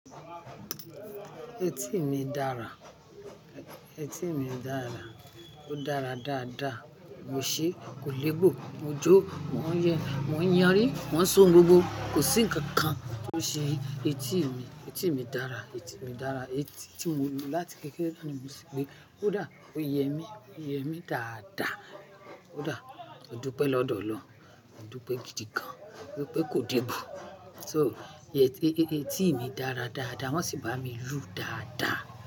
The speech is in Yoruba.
Etí mi dára, etí mi dára, ó dára dáadáa. Mo ṣe kò lébù, mo jó, mò ń yẹ́, mò ń yanri, mò ń sun róbó. Kò sí ǹkan kan tó ṣe etí mi. Etí mi dára, etí mi dára. Etí tí mo ní láti kékeré láti ìgbà tí mo ti gbé. Ó dà, ó yẹ mí, ó yẹ mí dáadáa. Ó dà, ó dúpẹ́ lọ́dọ̀ Ọlọ́run, ó dúpẹ́ gidi gan. Ó dúpẹ́ kò lébù. So etí mi dára dáadáa, wọ́n sì bá mi rú dáadáa.